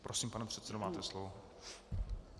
Prosím, pane předsedo, máte slovo.